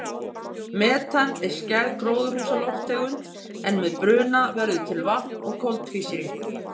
Metan er skæð gróðurhúsalofttegund en með bruna verður til vatn og koltvísýringur.